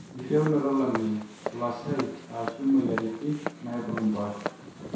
enkitieunoto olameyu, olasai aashu imweyiaritin naaibung impoosho